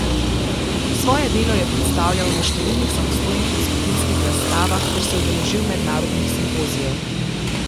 Svoje delo je predstavljal na številnih samostojnih in skupinskih razstavah ter se udeležil mednarodnih simpozijev.